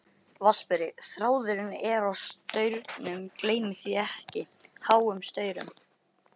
VATNSBERI: Þráðurinn er á staurum, gleymið því ekki, háum staurum.